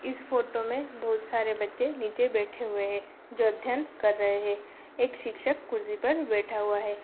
इस फ़ोटो में बहुत सारे बच्चे नीचे बैठे हुए हैं जो अध्यन कर रहे। एक शिक्षक कुर्सी पर बैठा हुआ है।